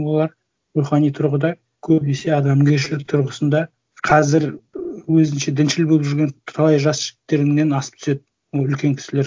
олар рухани тұрғыда көбінесе адамгершілік тұрғысында қазір өзінше діншіл болып жүрген талай жас жігіттеріңнен асып түседі ол үлкен кісілер